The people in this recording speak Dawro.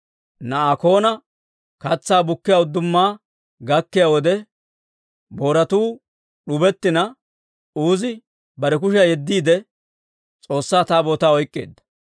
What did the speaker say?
Naakona katsaa bukkiyaa udduma gakkiyaa wode, booratuu d'ubettina, Uuzi bare kushiyaa yeddiide, S'oossaa Taabootaa oyk'k'eedda.